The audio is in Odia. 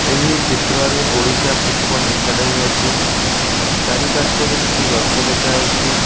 ଏହି ଚିତ୍ରରେ ଓଡିଶା ଫୁଟ୍ ବଲ ଏକାଡେମୀ ଅଛି। ଚାରିପାର୍ଶ୍ୱରେ କିଛି ଗଛ ଦେଖା ଯାଉଚି।